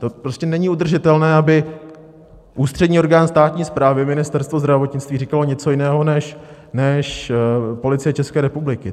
To prostě není udržitelné, aby ústřední orgán státní správy, Ministerstvo zdravotnictví, říkal něco jiného než Policie České republiky.